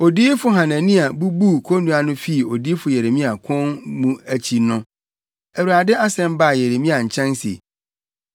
Odiyifo Hanania bubuu konnua no fii odiyifo Yeremia kɔn mu akyi no, Awurade asɛm baa Yeremia nkyɛn se: